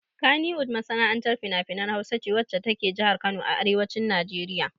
Kannywood masana'antar finafinan Hausa ce wacce ta ke jihar Kano a arewacin Najeriya.